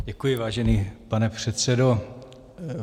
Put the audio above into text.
Děkuji, vážený pane předsedo.